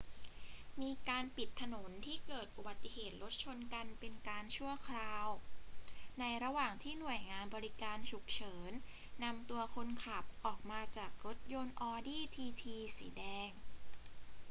มีการปิดถนนที่เกิดอุบัติเหตุรถชนกันเป็นการชั่วคราว ในระหว่างที่หน่วยงานบริการฉุกเฉินนำตัวคนขับออกมาจากรถยนต์ audi tt สีแดง